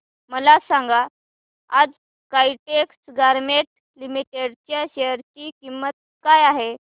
मला सांगा आज काइटेक्स गारमेंट्स लिमिटेड च्या शेअर ची किंमत काय आहे